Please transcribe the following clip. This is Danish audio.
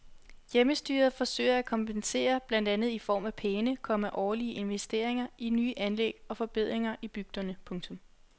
Hjemmestyret forsøger at kompensere blandt andet i form af pæne, komma årlige investeringer i nye anlæg og forbedringer i bygderne. punktum